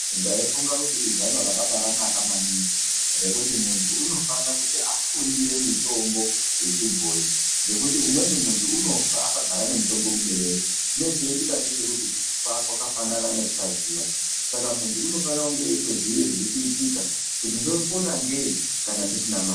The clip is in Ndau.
Ndaifunga kuti izano rakabanaka maningi rekuti muntu unofanira kuti afundire mitombo yechibhoyi ngekuti umweni muntu unofa akagara nemitombo muberere. Chine cheiitika ndechekuti kufa kwakafanana nekusaziya. Saka muntu unofanira kunge eitoziya zvirikuitika kuti ndopona ngei kana ndisina mare.